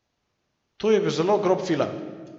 To je bil zelo grob film.